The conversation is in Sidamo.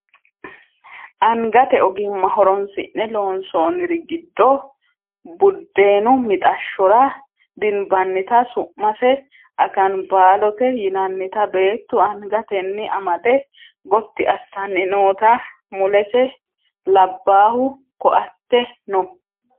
angate ogimma horonsi'ne loonsoonniri giddo buddeenu mixashshora dinabannita su'mase akanbaalote yinannita beettu angatenni amade gotti assanni noota mulese labbaahu ko"atte no